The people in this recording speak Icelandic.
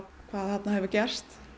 hvað þarna hefur gerst